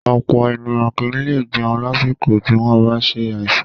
Ọ̀pọ̀ ènìyàn kì í lè jẹun lásìkò tí wọ́n bá ṣe àìsàn